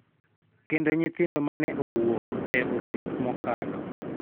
Kendo nyithindo ma ne owuok e osiep mokalo,